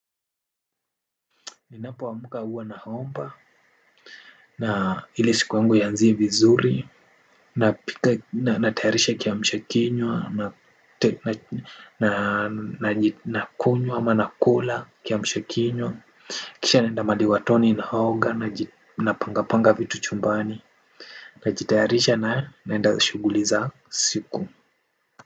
Ninapo amka huwa na haomba. Na hili siku uangu ianzie vizuri. Napika na natayarisha kiamsha kinywa. Na kunywa ama na kula kiamshakinywa. Kisha naenda mahali watoni na haoga na pangapanga vitu chumbani. Na jitayarisha na naenda shuguliza siku.